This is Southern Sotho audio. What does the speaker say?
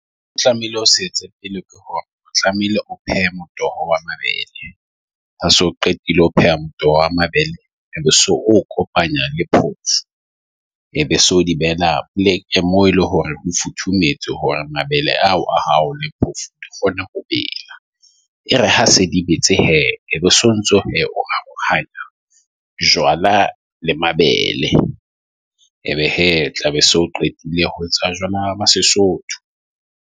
O tlamehile o setse pele ke hore o tlamehile o phehela motoho wa mabele. Ha so qetile ho pheha motoho wa mabele. So o kopanya le phoofo, e be so di burn a plek, mo eleng hore ho futhumetse hore mabele ao a hao le phoofo di kgone ho bela. E re ha se di betse hee obo sontso. Ho arohanya jwala le mabele. Ebe hee tlabe so qetile ho etsa jwala Sesotho.